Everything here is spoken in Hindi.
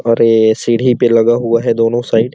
और ए सीढ़ी पे लगा हुआ है दोनों साइड --